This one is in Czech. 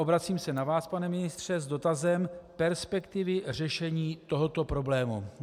Obracím se na vás, pane ministře, s dotazem perspektivy řešení tohoto problému.